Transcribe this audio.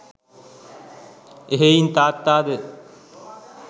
එහෙයින් තාත්තාද